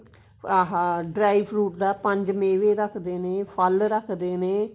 ਆਹ dry fruit ਦਾ ਪੰਜ ਮੇਵੇ ਰੱਖਦੇ ਨੇ ਫਲ ਰੱਖਦੇ ਨੇ